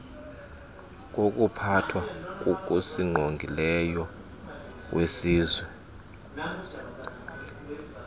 wokuphathwa kokusingqongileyo kwesizwe